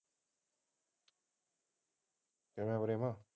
ਕਿਆ ਚੱਲ ਰਿਹਾ